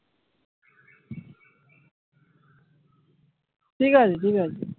ঠিক আছে ঠিক আছে।